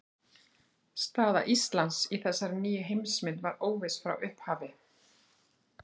Staða Íslands í þessari nýju heimsmynd var óviss frá upphafi.